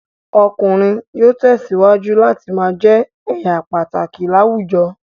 Ọkùnrin yóò tẹ̀síwájú láti ma jẹ́ èèyà pàtàkì láwùjọ